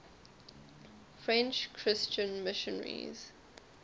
french christian missionaries